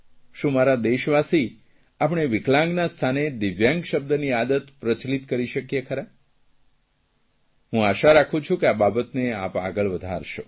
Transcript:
શું મારા દેશવાસી આપણે વિકલાંગતા સ્થાને દિવ્યાંગ શબ્દની આદત પ્રચલિત કરી શકીએ છીએ હું આશઆ રાખું છું કે આ બાબતને આપ આગળ વધારશો